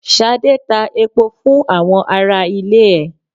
Ṣadé ta epo fún àwọn ará ilé ẹ.